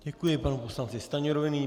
Děkuji panu poslanci Stanjurovi.